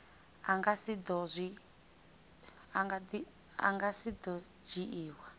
a nga si do dzhiiwa